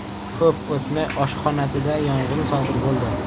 Ko‘p o‘tmay, oshxonasida yong‘in sodir bo‘ldi.